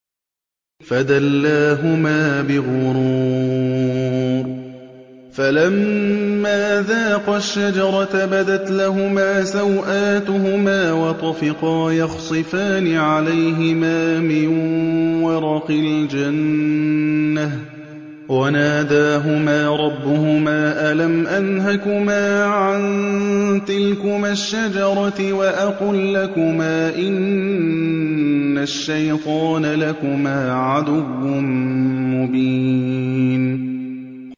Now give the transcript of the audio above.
فَدَلَّاهُمَا بِغُرُورٍ ۚ فَلَمَّا ذَاقَا الشَّجَرَةَ بَدَتْ لَهُمَا سَوْآتُهُمَا وَطَفِقَا يَخْصِفَانِ عَلَيْهِمَا مِن وَرَقِ الْجَنَّةِ ۖ وَنَادَاهُمَا رَبُّهُمَا أَلَمْ أَنْهَكُمَا عَن تِلْكُمَا الشَّجَرَةِ وَأَقُل لَّكُمَا إِنَّ الشَّيْطَانَ لَكُمَا عَدُوٌّ مُّبِينٌ